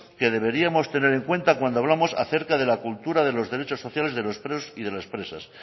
que deberíamos tener en cuenta cuando hablamos acerca de la cultura de los derechos sociales de los presos y de las presas